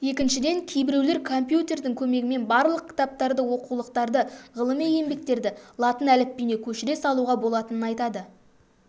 екіншіден кейбіреулер компьютердің көмегімен барлық кітаптарды оқулықтарды ғылыми еңбектерді латын әліпбиіне көшіре салуға болатынын айтады